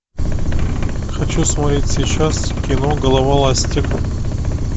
хочу смотреть сейчас кино голова ластик